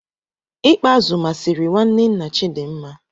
I kpa azu masịrị nwanne nna Chidinma.